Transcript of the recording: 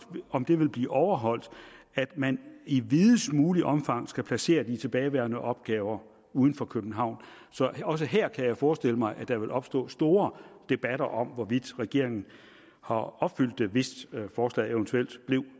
om det vil blive overholdt at man i videst muligt omfang skal placere de tilbageværende opgaver uden for københavn så også her kan jeg forestille mig at der vil opstå store debatter om hvorvidt regeringen har opfyldt det hvis forslaget eventuelt bliver